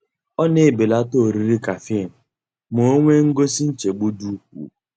Ọ na-ebelata oriri caffeine ma o nwee ngosi nchegbu dị ukwuu.